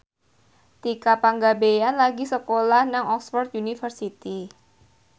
Tika Pangabean lagi sekolah nang Oxford university